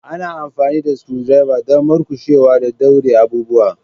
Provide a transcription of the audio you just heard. Ana amfani da screwdriver don murƙushewa da daure abubuwa.